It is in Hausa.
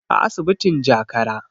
a asibitin jakara